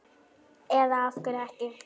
Eða af hverju ekki?